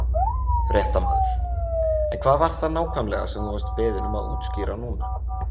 Fréttamaður: En hvað var það nákvæmlega sem þú vart beðinn um að útskýra núna?